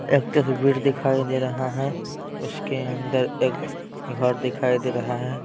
एक तस्वीर दिखाई दे रहा है उसके अंदर एक घर दिखाई दे रहा है।